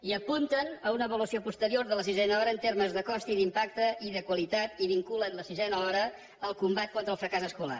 i apunten a una avaluació posterior de la sisena hora en termes de cost i d’impacte i de qualitat i vinculen la sisena hora en el combat contra el fracàs escolar